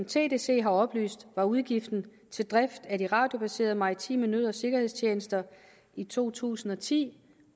tdc har oplyst var udgiften til driften af de radiobaserede maritime nød og sikkerhedstjenester i to tusind og ti